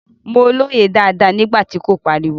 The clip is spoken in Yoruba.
Mo lóye dáadáa nígbà tí kò pariwo.